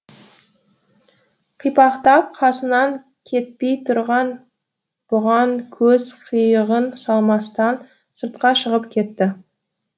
қипақтап қасынан кетпей тұрған бұған көз қиығын салмастан сыртқа шығып кетті